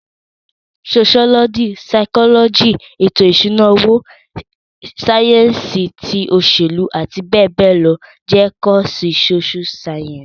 Soṣiọlọji, saikọlọji, eto ìṣúná owó, sáyẹ́ǹsì ti òṣèlú àti bẹẹ bẹẹ lọ jẹ́ kọ́ọ̀sì Sóṣú sáyẹ́ǹsì